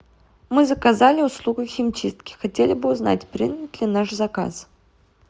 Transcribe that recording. мы заказали услугу химчистки хотели бы узнать принят ли наш заказ